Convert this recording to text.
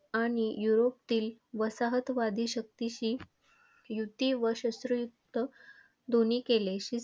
आणि युरोपातील वसाहतवादी शक्तीशी युती व शस्त्र युद्ध दोन्ही केले.